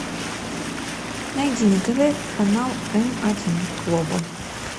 найди на тв канал м один глобал